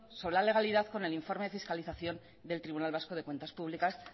sobre la legalidad con el informe de fiscalización del tribunal vasco de cuentas públicas